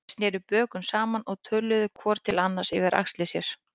Þeir sneru bökum saman og töluðu hvor til annars yfir axlir sér.